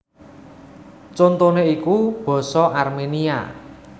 Contoné iku basa Arménia